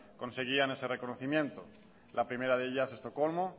conseguían ese reconocimiento la primera de ellas estocolmo